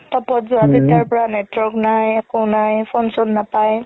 top ত যোৱা তেতিয়া পৰা network নাই একো নাই phone চোন নাপাই